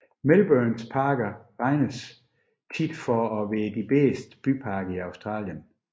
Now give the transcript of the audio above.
Melbournes parker regnes ofte for at være de bedste byparker i Australien